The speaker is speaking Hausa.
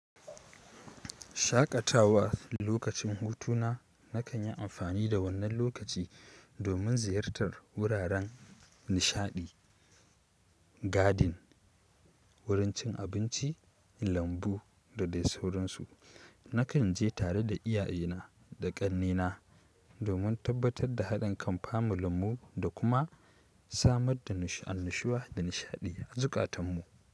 Shaƙatawa lokacin hutuna nakan yi amfani da wannan lokaci domin ziyartar wuraren nishaɗi, garden, wurin cin abinci, lambu da dai sauransu. Nakan je tare da iyayena da ƙannena domin tabbatar da haɗin kan familun mu da kuma samar da annushuwa da nishaɗi a zukatan mu.